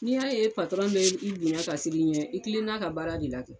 N'i y'a ye bɛ i bonya ka siran i ɲɛ i tilenn'a ka baara de la kɛ